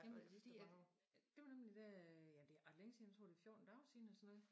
Jamen det fordi at det var nemlig da ja det ret længe siden jeg tror det 14 dage siden eller sådan noget